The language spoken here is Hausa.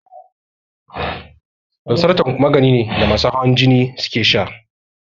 Losartan magani ne da masu hawan jini suke sha